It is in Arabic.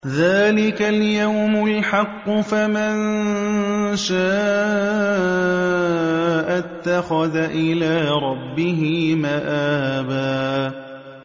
ذَٰلِكَ الْيَوْمُ الْحَقُّ ۖ فَمَن شَاءَ اتَّخَذَ إِلَىٰ رَبِّهِ مَآبًا